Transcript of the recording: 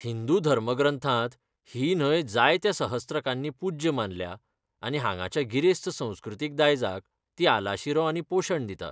हिंदू धर्मग्रंथांत ही न्हंय जायत्या सहस्त्रकांनी पूज्य मानल्या आनी हांगाच्या गिरेस्त संस्कृतीक दायजाक ती आलाशिरो आनी पोशण दिता.